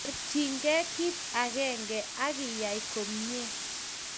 Porchinkey kit akenge akiay komnye.